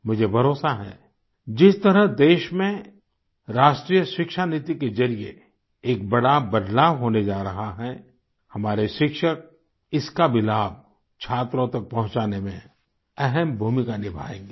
मुझे भरोसा है जिस तरह देश में राष्ट्रीय शिक्षा नीति के जरिये एक बड़ा बदलाव होने जा रहा है हमारे शिक्षक इसका भी लाभ छात्रों तक पहुचाने में अहम भूमिका निभायेंगे